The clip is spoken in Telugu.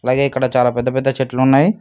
అలాగే ఇక్కడ చాలా పెద్ద పెద్ద చెట్లు ఉన్నాయి.